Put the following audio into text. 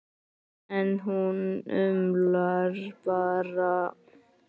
En hún umlar bara.